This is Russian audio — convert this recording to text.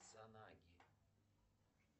санаги